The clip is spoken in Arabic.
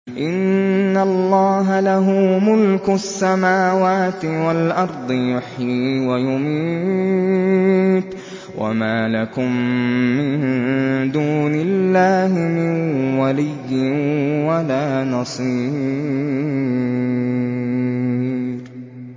إِنَّ اللَّهَ لَهُ مُلْكُ السَّمَاوَاتِ وَالْأَرْضِ ۖ يُحْيِي وَيُمِيتُ ۚ وَمَا لَكُم مِّن دُونِ اللَّهِ مِن وَلِيٍّ وَلَا نَصِيرٍ